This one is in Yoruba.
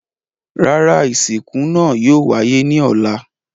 Rárá, isinku naa yóò waye ni ọlá